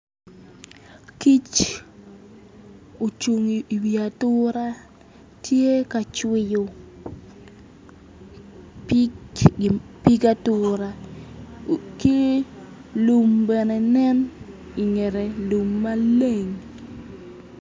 Kic ocung i wi atura tye ka cwiyu pig atura ki lum bene nen i ngette lummaleng